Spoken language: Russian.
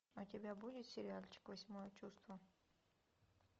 у тебя будет сериальчик восьмое чувство